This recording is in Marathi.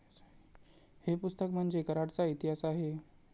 हे पुस्तक म्हणजे कराडचा इतिहास आहे.